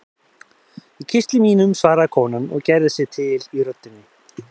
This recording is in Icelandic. Í kistli mínum, svaraði konan og gerði sig til í röddinni.